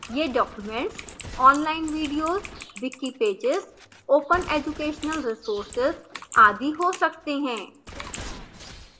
ये documents online videos wiki pages open educational resources आदि हो सकते हैं